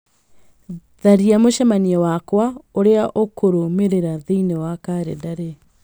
tharia mũcemanio wakwa ũrĩa ũkũrũmĩrĩra thĩinĩ wa kalendarĩ